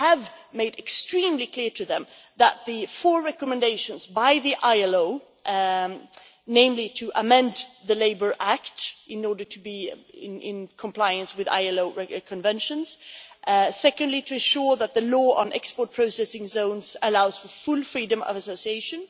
We have made it extremely clear to them that the four ILO recommendations, namely to amend the Labour Act in order to bring it into compliance with ILO conventions secondly, to ensure that the law on export processing zones allows for full freedom of association